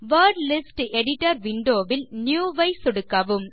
word list editor window வில் new ஐ சொடுக்கவும்